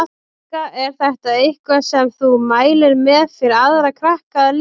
Helga: Er þetta eitthvað sem þú mælir með fyrir aðra krakka að lesa?